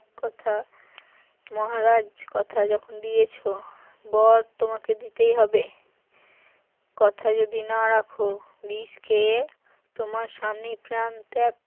কথা মহারাজ কথা যখন দিয়েছো বর তোমাকে দিতেই হবে কথা যদি না রাখো বিষ খেয়ে তোমার সামনে প্রান ত্যাগ